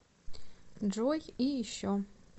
джой и еще